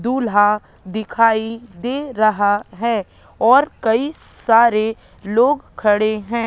दूल्हा दिखाई दे रहा है और कई सारे लोग खड़े हैं।